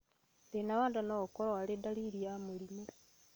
Thĩna wa nda noũkorwo arĩ ndariri ya mũrimũ